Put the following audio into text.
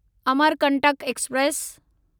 Amarkantak express